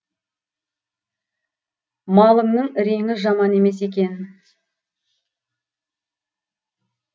малыңның реңі жаман емес екен